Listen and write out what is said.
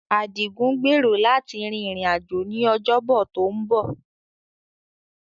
Adigun gbèrò láti rin ìrìn-àjò ní Ọjọ́bọ tó ń bọ̀.